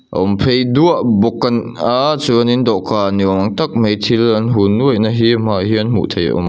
a awm pheih duah bawk an aaa chuan in dawhkan ni awm tak mai thil an hun nuaih na hi hmaah hian hmuh theih a awm.